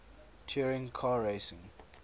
touring car racing